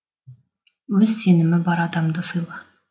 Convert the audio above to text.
өз сенімі бар адамды сыйла